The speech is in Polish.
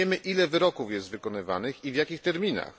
Nie wiemy, ile wyroków jest wykonywanych ani w jakich terminach.